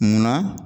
Munna